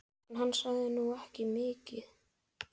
En hann sagði nú ekki mikið.